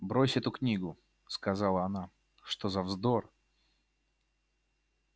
брось эту книгу сказала она что за вздор